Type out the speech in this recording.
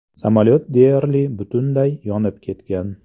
Samolyot deyarli butunlay yonib ketgan.